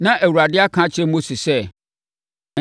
Na Awurade aka akyerɛ Mose sɛ,